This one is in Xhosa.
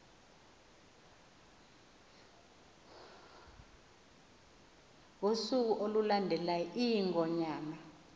ngosuku olulandelayo iingonyama